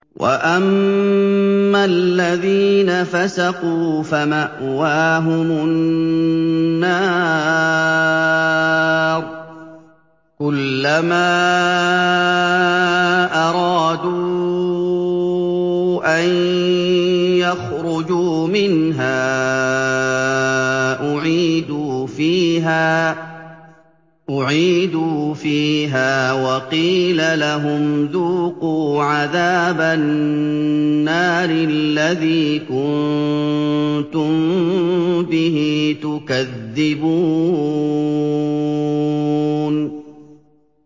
وَأَمَّا الَّذِينَ فَسَقُوا فَمَأْوَاهُمُ النَّارُ ۖ كُلَّمَا أَرَادُوا أَن يَخْرُجُوا مِنْهَا أُعِيدُوا فِيهَا وَقِيلَ لَهُمْ ذُوقُوا عَذَابَ النَّارِ الَّذِي كُنتُم بِهِ تُكَذِّبُونَ